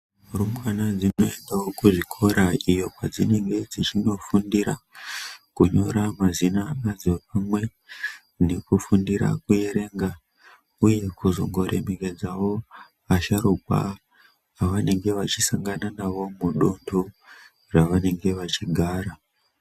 Rumbwana dzinoendawo kuzvikora iyo kwadzinenge dzichinofuNdira kunyora mazina adzo uye nekufundire kuerenga uye kuzongo remekedzawo asharukwa vavanenge vachisangana nawo mudoko mavanenge vachigara.